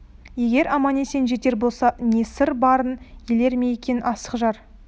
егер аман-есен жетер болса не сыр барын елер ме екен асық жар